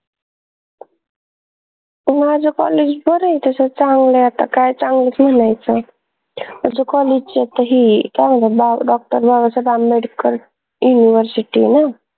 माझं college बर ए तस चांगलंय आता काय चांगलं सांगायचं आमच्या college च्या त ही काय म्हनतात DR बाबासाहेब आंबेडकर शिकले न